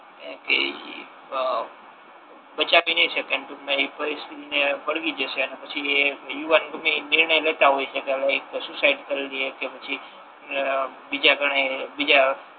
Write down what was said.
એમ કે ઇ બચાવી નહી શકે ટૂંક મા એ પરિસ્થિતિ ને વળવી જસે અને પછી એ યુવાન ગમે એ નિર્ણય લેતા હોય છે હાલે એતો સુસાઇડ કરી લે કે પછી અમ બીજા ઘણાયે બીજા